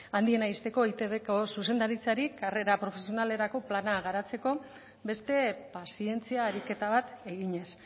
handiena uzteko eitbko zuzendaritzari karrera profesionalerako plana garatzeko beste pazientzia ariketa bat eginez